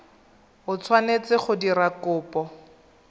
o tshwanetseng go dira kopo